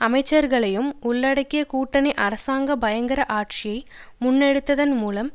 அமைச்சர்களையும் உள்ளடக்கிய கூட்டணி அரசாங்கம் பயங்கர ஆட்சியை முன்னெடுத்ததன் மூலம்